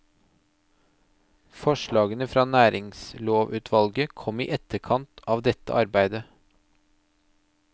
Forslagene fra næringslovutvalget kom i etterkant av dette arbeidet.